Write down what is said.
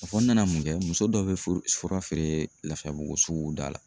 A fɔ n nana mun kɛ muso dɔ be furu fura feere Lafiyabugu sugu da la